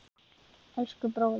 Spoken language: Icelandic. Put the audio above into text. Elsku, bróðir.